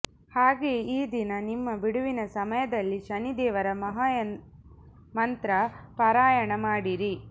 ಹಾಗೆಯೇ ಈ ದಿನ ನಿಮ್ಮ ಬಿಡುವಿನ ಸಮಯದಲ್ಲಿ ಶನಿ ದೇವರಾ ಮಹಾ ಮಂತ್ರ ಪಾರಾಯಣ ಮಾಡಿರಿ